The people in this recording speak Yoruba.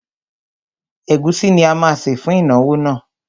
Ẹ̀gúsí ni a má sè fún ìnáwó náà.